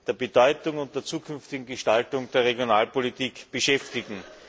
der Bedeutung und der zukünftigen Gestaltung der Regionalpolitik beschäftigen.